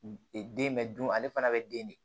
E den bɛ dun ale fana bɛ den de